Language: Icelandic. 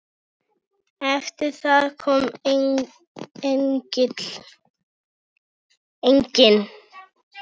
Eftir það kom enginn.